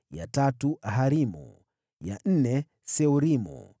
ya tatu Harimu, ya nne Seorimu,